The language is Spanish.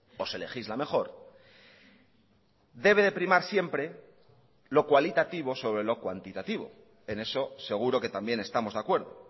o se legisla mejor debe de primar siempre lo cualitativo sobre lo cuantitativo en eso seguro que también estamos de acuerdo